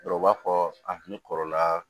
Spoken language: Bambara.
Dɔw b'a fɔ a kun kɔrɔla